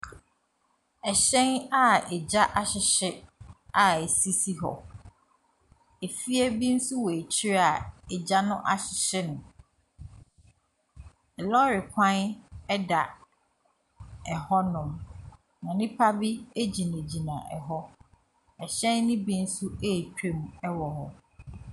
Ɛhyɛn a egya ahyehye a ɛsisi hɔ. Efie bi nso wɔ akyiri a egya no ahyehye no. Lɔre kwan da hɔnom, na nnipa bi gyinagyina hɔ. Ɛhyɛn no bi nso retwam wɔ hɔ.